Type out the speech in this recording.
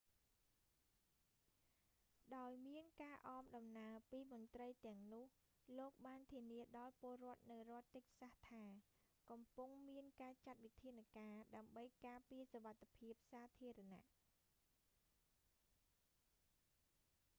ដោយមានការអមដំណើរពីមន្រ្តីទាំងនោះ លោកបានធានាដល់ពលរដ្ឋនៅរដ្ឋតិចសាស់ថា កំពុងមានការចាត់វិធានការ ដើម្បីការពារសុវត្ថិភាពសាធារណៈ